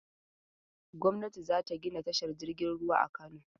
Gwamnati za ta gina tashar jiragen ruwa a Kano.